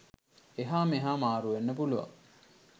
එහා මෙහා මාරු වෙන්න පුළුවන්.